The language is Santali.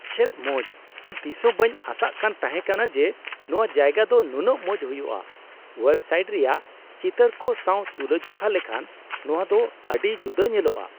ᱪᱮᱫ ᱢᱚᱡ ! ᱤᱧ ᱛᱤᱥᱦᱚᱸ ᱵᱟᱹᱧ ᱟᱥᱟᱠᱟᱱ ᱛᱟᱦᱮᱠᱟᱱᱟ ᱡᱮ ᱱᱚᱣᱟ ᱡᱟᱭᱜᱟ ᱫᱚ ᱱᱩᱱᱟᱹᱜ ᱢᱚᱡ ᱦᱩᱭᱩᱜᱼᱟ ᱾ ᱳᱣᱮᱵ ᱥᱟᱭᱤᱴ ᱨᱮᱭᱟᱜ ᱪᱤᱛᱟᱹᱨ ᱠᱚ ᱥᱟᱣ ᱛᱩᱞᱟᱹᱡᱚᱠᱷᱟ ᱞᱮᱠᱷᱟᱱ ᱱᱚᱣᱟ ᱫᱚ ᱟᱹᱰᱤ ᱡᱩᱫᱟᱹ ᱧᱮᱞᱚᱜᱼᱟ ᱾